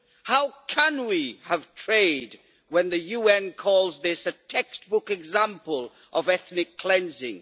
How can we have trade, when the UN calls this a textbook example of ethnic cleansing?